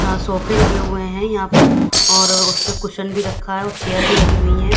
यहां सोफे लगे हुए हैं यहां पर और उसपे कुशन भी रखा है और चेयर भी लगी हुई है।